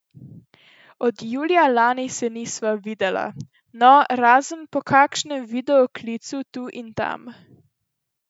Od julija lani se nisva videla, no, razen po kakšnem videoklicu tu in tam.